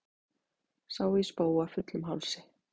Sá ég spóa fullum hálsi.